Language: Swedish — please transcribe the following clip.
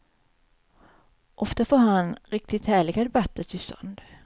Ofta får han riktigt härliga debatter till stånd.